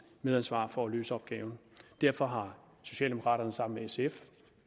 medansvar for at løse opgaven derfor har socialdemokraterne sammen med sf